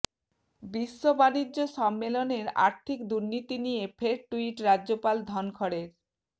বিশ্ব বাণিজ্য সম্মেলনের আর্থিক দুর্নীতি নিয়ে ফের টুইট রাজ্যপাল ধনখড়ের